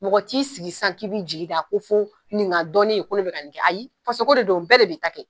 Mɔgɔ t'i sigi sisan k'i b'i jiginda ko fo nin ga dɔ ne ye ko ne be ka nin kɛ ayi faso ko de do bɛɛ de b'i ta kɛ